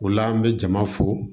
O la an bɛ jama fo